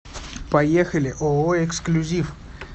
поехали ооо эксклюзив